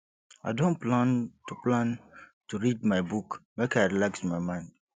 i don plan to plan to read my book make i relax my mind